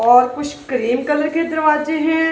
और कुछ cream colour के दरवाजे हैं।